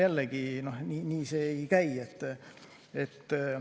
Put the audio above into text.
Jällegi, nii see ei käi.